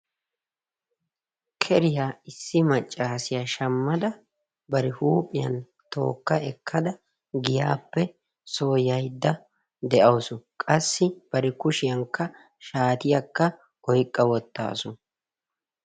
keriya issi macaasiya bari huuphiyan tooka ekkada soo yayda de'awusu, qasi bari kushiyankka shaatiya oyqa wotaasu.